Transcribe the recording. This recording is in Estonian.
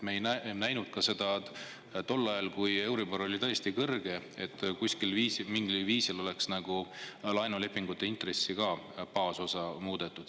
Me ei näinud ka tol ajal, kui euribor oli tõesti kõrge, et mingil viisil oleks laenulepingutes intressi baasosa muudetud.